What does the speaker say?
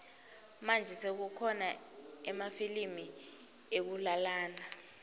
manje sekukhona emafilimu ekulalana